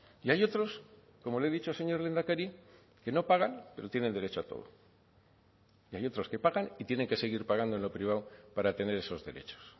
y hay otros como le he dicho señor lehendakari que no pagan pero tienen derecho a todo y hay otros que pagan y tienen que seguir pagando en lo privado para tener esos derechos